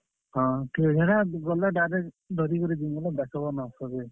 ହଁ, ଠିକ୍ ଅଛେ ହେଟା ଗଲେ direct ଧରି କି ଜିମି ବେଲେ ଦେଖବ ନ ସଭେ।